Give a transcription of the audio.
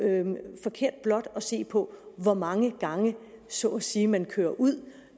forkert blot at se på hvor mange gange så at sige man kører ud